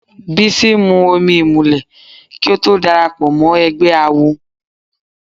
Bísí mu omi ìmùlẹ̀ kí ó tó darapọ̀ mọ́ ẹgbẹ́ awo.